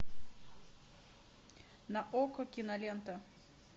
на окко кинолента